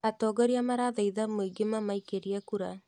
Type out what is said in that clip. Atongoria marathaitha muingĩ mamaikĩrie kura